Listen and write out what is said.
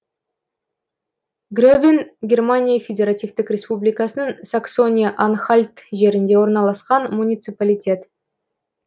гребен германия федеративтік республикасының саксония анхальт жерінде орналасқан муниципалитет